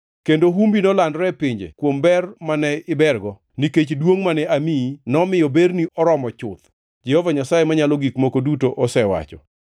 Kendo humbi nolandore e pinje kuom ber mane ibergo, nikech duongʼ mane amiyi nomiyo berni oromo chuth, Jehova Nyasaye Manyalo Gik Moko Duto osewacho.